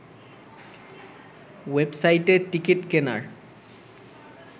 ওয়েবসাইটে টিকিট কেনার